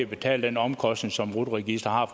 betale den omkostning som rut registeret